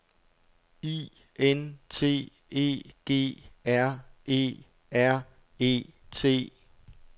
I N T E G R E R E T